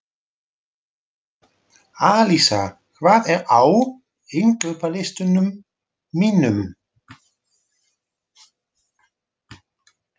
Alísa, hvað er á innkaupalistanum mínum?